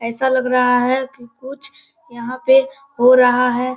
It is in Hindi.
ऐसा लग रहा है की कुछ यहाँ पे हो रहा है।